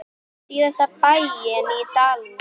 Síðasta bæinn í dalnum.